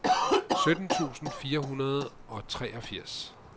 sytten tusind fire hundrede og treogfirs